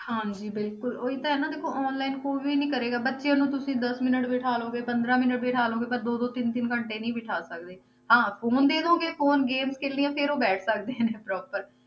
ਹਾਂਜੀ ਬਿਲਕੁਲ ਉਹੀ ਤਾਂ ਹੈ ਨਾ ਦੇਖੋ online ਕੋਈ ਵੀ ਕਰੇਗਾ, ਬੱਚਿਆਂ ਨੂੰ ਤੁਸੀਂ ਦਸ minute ਬਿਠਾ ਲਓਗੇ ਪੰਦਰਾਂ minute ਬਿਠਾ ਲਓਗੇ, ਪਰ ਦੋ ਦੋ ਤਿੰਨ ਤਿੰਨ ਘੰਟੇ ਨਹੀਂ ਬਿਠਾ ਸਕਦੇ, ਹਾਂ phone ਦੇ ਦਓਗੇ phone game ਖੇਲਣੀਆਂ, ਫਿਰ ਉਹ ਬੈਠ ਸਕਦੇ ਨੇ proper